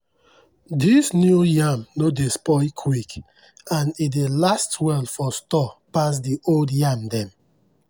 dis new yam no dey spoil quick and e dey last well for store pass the old yam dem.